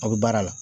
Aw bɛ baara la